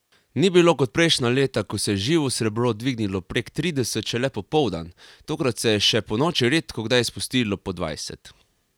Ni bilo kot prejšnja leta, ko se je živo srebro dvignilo prek trideset šele popoldan, tokrat se je še ponoči redkokdaj spustilo pod dvajset.